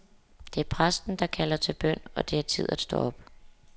Det er præsten, der kalder til bøn, og det er tid at stå op.